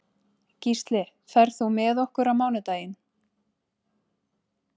Gísli, ferð þú með okkur á mánudaginn?